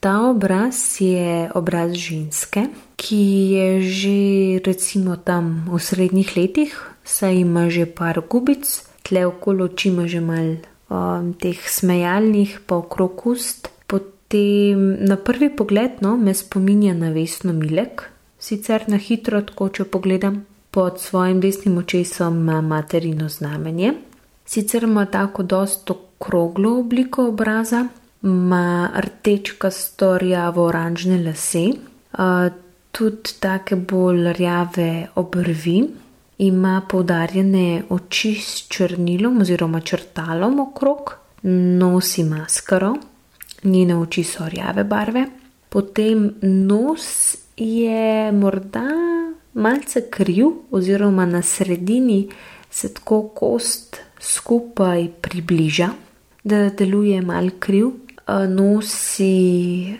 Ta obraz je obraz ženske, ki je že recimo tam, v srednjih letih, saj ima že par gubic. Tule okoli oči ima že malo, teh smejalnih, pa okrog ust. Potem na prvi pogled, no, me spominja na Vesno Milek. Sicer na hitro tako, če pogledam. Pod svojim desnim očesom ima materino znamenje. Sicer ima tako dosti okroglo obliko obraza, ima rdečkasto rjavo oranžne lase, tudi take bolj rjave obrvi. Ima poudarjene oči s črnilom oziroma črtalom okrog, nosi maskaro, njene oči so rjave barve. Potem nos je morda malce kriv oziroma na sredini se tako kost skupaj približa, da deluje malo kriv. nosi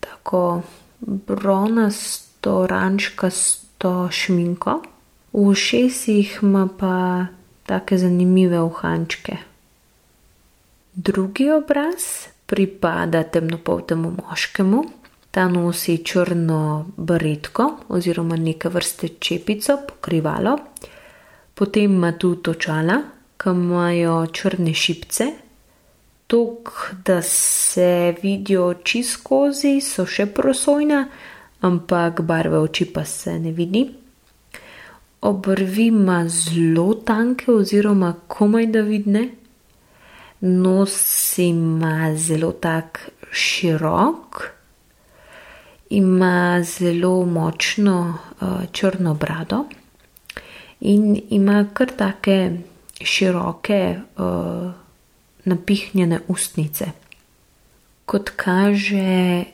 tako bronasto oranžkasto šminko, v ušesih ima pa take zanimive uhančke. Drugi obraz pripada temnopoltemu moškemu. Ta nosi črno baretko oziroma neke vrste čepico, pokrivalo. Potem ima tudi očala, ke imajo črne šipice. Toliko, da se vidijo oči skozi, so še prosojne, ampak barva oči pa se ne vidi. Obrvi ima zelo tanke oziroma komajda vidne. Nos ima zelo tak širok, ima zelo močno, črno brado in ima kar take široke, napihnjene ustnice. Kot kaže,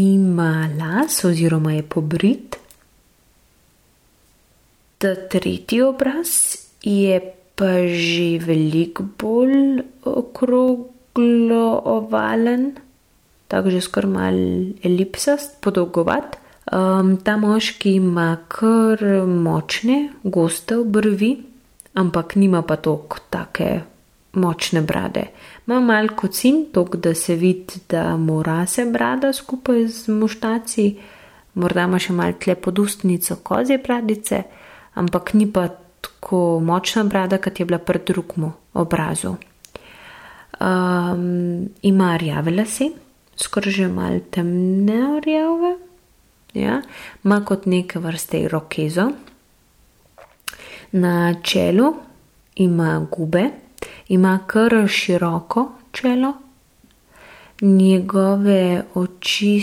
nima las oziroma je pobrit. Ta tretji obraz je pa že veliko bolj okroglo ovalen. Tako, že skoraj malo elipsast, podolgovat. ta moški ima kar močne, goste obrvi, ampak nima pa toliko, take močne brade. Ima malo kocin, toliko, da se vidi, da mu rase brada skupej z muštacami, morda ima še malo tule pod ustnico kozje bradice, ampak ni pa tako močna brada, kot je bila pri drugemu obrazu. ima rjave lase, skoraj že malo temne rjave, ja. Ima kot neke vrste irokezo, na čelu ima gube. Ima kar široko čelo. Njegove oči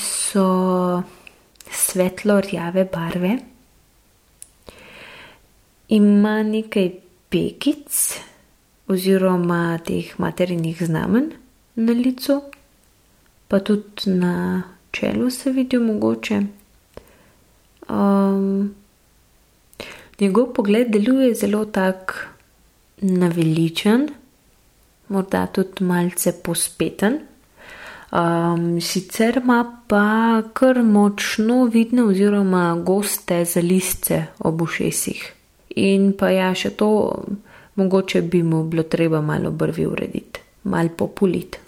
so svetlo rjave barve. Ima nekaj pegic oziroma teh materinih znamenj na licu, pa tudi na čelu se vidijo mogoče. njegov pogled deluje zelo tak naveličan, morda tudi malce povzpeten. sicer ima pa kar močno vidne oziroma goste zalizce ob ušesih. In pa ja, še to. Mogoče bi mu bilo treba malo obrvi urediti. Malo populiti.